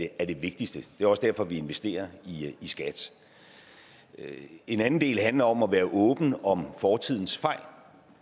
er det vigtigste det er også derfor vi investerer i skat en anden del handler om at være åben om fortidens fejl